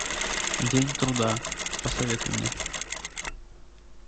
день труда посоветуй мне